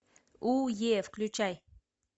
у е включай